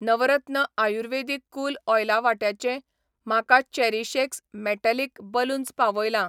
नवरत्न आयुर्वेदिक कूल ऑयला वाट्याचें, म्हाका चेरीशएक्स मेटालिक बलून्स पावयलां.